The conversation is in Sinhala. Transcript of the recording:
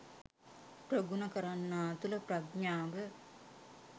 ප්‍රගුණ කරන්නා තුළ ප්‍රඥාව